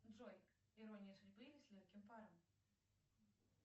джой ирония судьбы или с легким паром